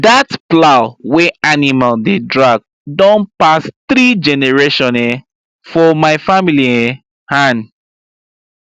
that plow wey animal dey drag don pass three generation um for my family um hand